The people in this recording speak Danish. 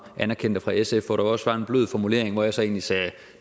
anerkendte fra sf hvor der også var en blød formulering og hvor jeg så egentlig sagde at